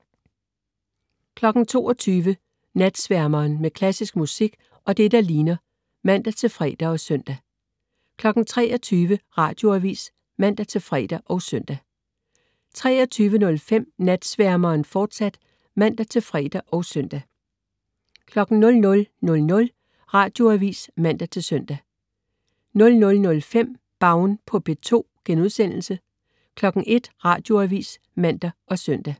22.00 Natsværmeren. Med klassisk musik og det, der ligner (man-fre og søn) 23.00 Radioavis (man-fre og søn) 23.05 Natsværmeren, fortsat (man-fre og søn) 00.00 Radioavis (man-søn) 00.05 Baun på P2* 01.00 Radioavis (man og søn)